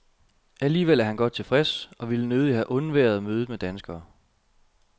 Alligevel er han godt tilfreds, og ville nødigt have undværet mødet med danskere.